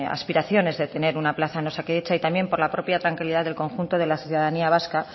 aspiraciones de tener una plaza en osakidetza y también por la propia tranquilidad del conjunto de la ciudadanía vasca